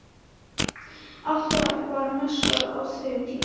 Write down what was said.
Alltaf var messað á þeim tíma